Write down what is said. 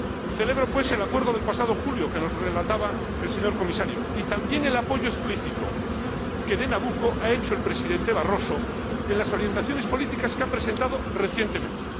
Celebro pues el acuerdo del pasado julio, que nos relataba el señor Comisario, y también el apoyo explícito a Nabucco que ha hecho el Presidente Barroso en las orientaciones políticas que ha presentado recientemente.